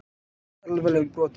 Lýsti alvarlegum brotum